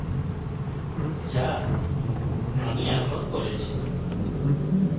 যা আমি এখন করেছি